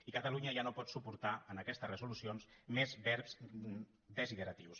i catalunya ja no pot suportar en aquestes resolu·cions més verbs desideratius